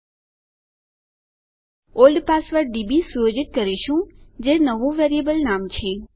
આપણે old password DB સુયોજિત કરીશું જે નવું વેરીએબલ નામ છે